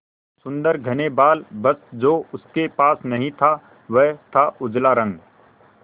सुंदर घने बाल बस जो उसके पास नहीं था वह था उजला रंग